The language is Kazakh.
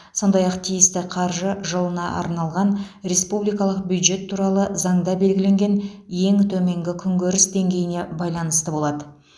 сондай ақ тиісті қаржы жылына арналған республикалық бюджет туралы заңда белгіленген ең төменгі күнкөріс деңгейіне байланысты болады